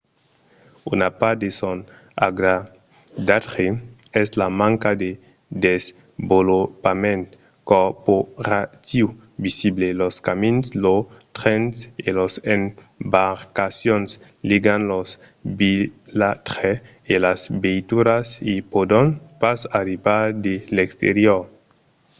una part de son agradatge es la manca de desvolopament corporatiiu visible. los camins los trens e las embarcacions ligan los vilatges e las veituras i pòdon pas arribar de l'exterior